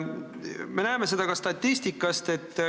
Me näeme seda ka statistikast.